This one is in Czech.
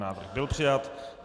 Návrh byl přijat.